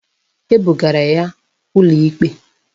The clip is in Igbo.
Agbụgara ya ụlọikpe